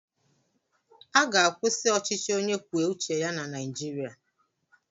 A ga-akwụsị ọchịchị onye kwuo uche ya na Naijiria.